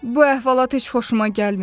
Bu əhvalat heç xoşuma gəlmir.